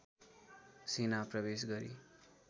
सेना प्रवेश गरी